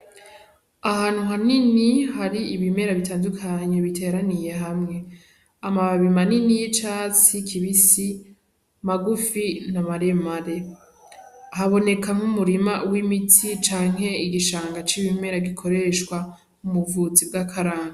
Ahantu hanini hari ibimera bitandukanye biteraniye hamwe amababi manini y'icatsi kibisi magufi n'amaremare haboneka mwo umurima w'imiti canke igishanga c'ibimera gikoshwa mu buvuzi bw'akaranga.